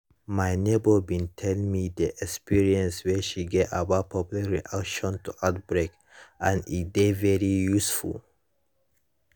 my neighbor bin tell me the experience wey she get about public reaction to outbreak and e dey very useful